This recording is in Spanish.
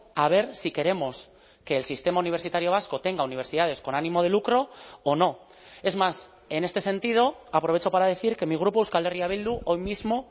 a ver si queremos que el sistema universitario vasco tenga universidades con ánimo de lucro o no es más en este sentido aprovecho para decir que mi grupo euskal herria bildu hoy mismo